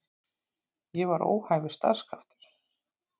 Ég var óhæfur starfskraftur.